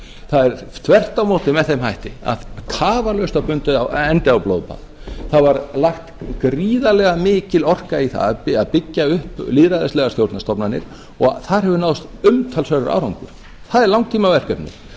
það er þvert á móti með þeim hætti að tafarlaust var bundinn endir á blóðbað það var lagt gríðarlega mikil orka í það að byggja upp lýðræðislegar stjórnarstofnanir og þar hefur náðst umtalsverður árangur það er langtímaverkefni sem mun